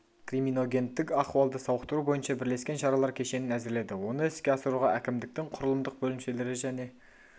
криминогендік ахуалды сауықтыру бойынша бірлескен шаралар кешенін әзірледі оны іске асыруға әкімдіктің құрылымдық бөлімшелері және